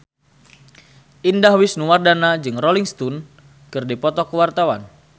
Indah Wisnuwardana jeung Rolling Stone keur dipoto ku wartawan